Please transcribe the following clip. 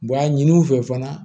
Wa a ɲini u fɛ fana